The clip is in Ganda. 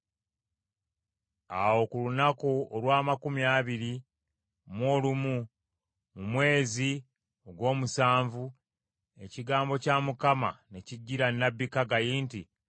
Awo ku lunaku olw’amakumi abiri mu olumu mu mwezi ogw’omusanvu, ekigambo kya Mukama ne kijjira nnabbi Kaggayi nti,